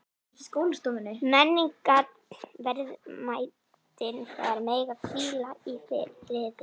Menningarverðmætin þar mega hvíla í friði.